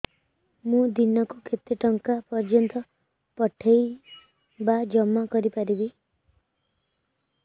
ମୁ ଦିନକୁ କେତେ ଟଙ୍କା ପର୍ଯ୍ୟନ୍ତ ପଠେଇ ବା ଜମା କରି ପାରିବି